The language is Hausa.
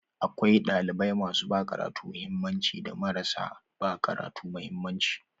Akwai ɗalibai masu ba karatu mahimmanci da marasa ba karatu mahimmanci.